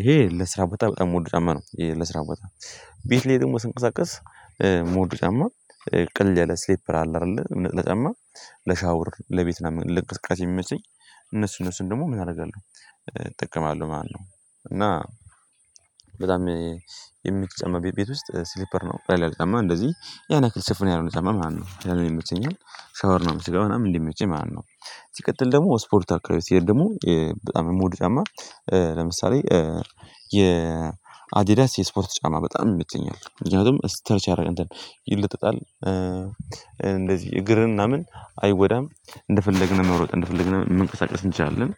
ይሄ ለስራ ቦታ በጣም የምወደው ጫም ነው። ይሄ ለስራ ቦታ ቤት ላይ ደግሞ ስንቀሳቀስ ምወደው ጫማ ቅልል ያለ ስሊፐር አለ አይደለ ነጠላ ጫማ። ለሻውር ለቤት ለእንቅስቃሴ የሚመቸኝ እነሱ እነሱን ደግሞ ምን አደርጋለሁ እጠቀማለሁ ማለት ነው። እና በጣም የምትመቸኝ ቤት ውስጥ ስሊፐር ነው። ቀላል ጫማ እንደዚህ የሆነ ያክል ሽፍን ያልሆነ ጫማ ማለት ነው። ያ ይመቸኛል ሻወር ለመውሰድ በጣም እንዲመቸኝ ማላት ነው። ሲቀጥል ደግሞ ስፖርት አካባቢ ሲሄድ ደግሞ በጣም የምውድ ጫማ ለምሳሌ የአዲዳስ የስፖርት ጫማ በጣም ይመቸኛል። ምክኛቱምም ስትረች ያደርጋል እንትን ይለጠጣል እንደዚህ እግርህን ምናምን አይጎዳም። እንደፈለግነው መሮጥ እንደፈለግነው መንቀሳቀስ እንችላለን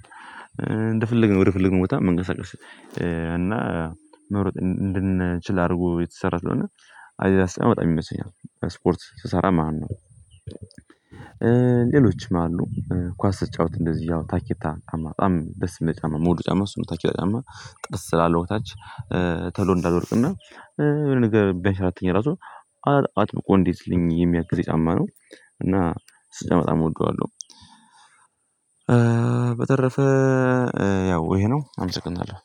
እንደፈለግነው ወደ ፈለግነው ቦታ መንቀሳቀስ። እና መፎጥ እንድንችል አድርጎ የተሰራ ስለሆነ አዲዳስ ጫማ በጣም ይመቸኛል ስፖርት ስሰራ ማለት ነው። ማነው ሌሎችም አሉ ኳስ ስጫወት እንደዚህ ታኬታ ጫማ በጣም ደስ የሚለኝ ጫማ ምወደው ጫማ እሱ ነው። ታኬታ ጫማ ጥርስ ስላለው ከታች ቶሎ እንዳልወድቅ እና የሆነ ነገር ቢያንሸራትተኝ ራሱ አጥብቆ እንዲይዝልኝ የሚያግዘኝ ጫማ ነው። እና እሱን በጣም እወደዋለሁ። በተረፈ ያው ይሄ ነው አመሰናለሁ